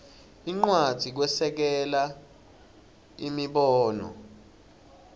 incwadzi kwesekela imibono